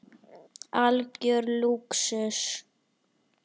Algjör lúxus.